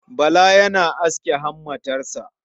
Bala yana aske hammatarsa.